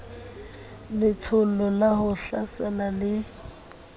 letsholo la ho hlasela le